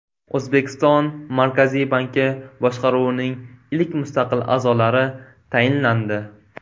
O‘zbekiston Markaziy banki boshqaruvining ilk mustaqil a’zolari tayinlandi.